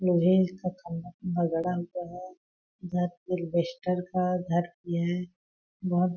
लोहे का खम्भा-खम्भा गड़ा हुआ है। घर अलबेस्टर का घर ये है बहुत--